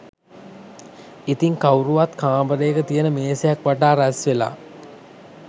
ඉතින් කවුරුත් කාමරයක තියන මේසයක් වටා රැස්වෙලා